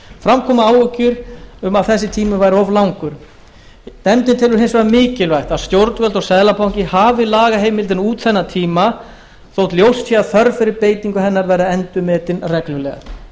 fram komu áhyggjur af því að þessi tími væri of langur nefndin telur hins vegar mikilvægt að stjórnvöld og seðlabanki hafi lagaheimildina út þennan tíma þótt ljóst sé að þörf fyrir beitingu hennar verði endurmetin reglulega